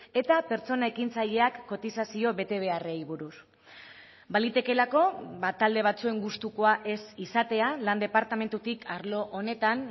eta pertsona ekintzaileak kotizazio betebeharrei buruz balitekeelako talde batzuen gustukoa ez izatea lan departamentutik arlo honetan